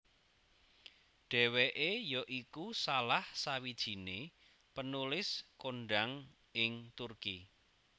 Dheweke ya iku salah sawijine penulis kondhang ing Turki